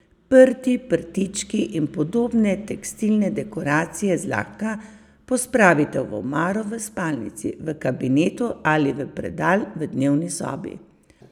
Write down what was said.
Prti, prtički in podobne tekstilne dekoracije zlahka pospravite v omaro v spalnici, v kabinetu ali v predal v dnevni sobi.